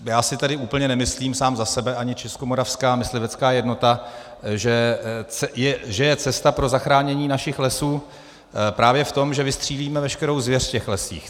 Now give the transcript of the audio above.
Já si tedy úplně nemyslím sám za sebe ani Českomoravská myslivecká jednota, že je cesta pro zachránění našich lesů právě v tom, že vystřílíme veškerou zvěř v těch lesích.